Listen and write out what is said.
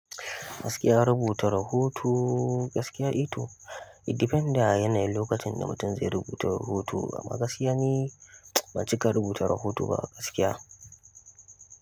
Gaskiya rubuta rahoto gaskiya eh to. It depends da yanayin lokacin da mutum zai rubuta rahoto. Amma gaskiya ni ban cika rubuta rahoto ba a gaskiya.